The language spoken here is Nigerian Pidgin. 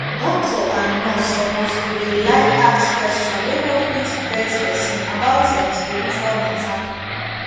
doctor and nurse suppose to dey like ask question wey no fit vex pesin about em spiritual matter